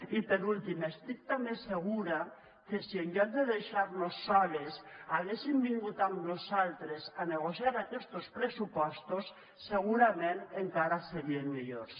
i per últim estic també segura que si en lloc de deixar nos soles haguessin vingut amb nosaltres a negociar aquestos pressupostos segurament encara serien millors